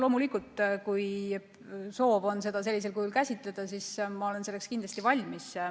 Loomulikult, kui soov on seda sellisel kujul käsitleda, siis ma olen selleks valmis.